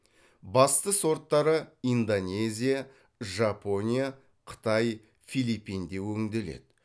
басты сорттары индонезия жапония қытай филиппинде өңделеді